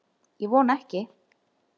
Ég vona ekki